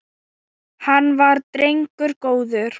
Hann var drengur góður.